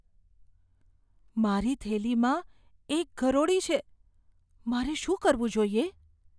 મારી થેલીમાં એક ગરોળી છે. મારે શું કરવું જોઈએ?